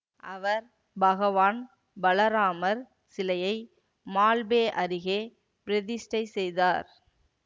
அவர் பகவான் பலராமர் சிலையை மால்பே அருகே பிரதிஷ்டை செய்தார்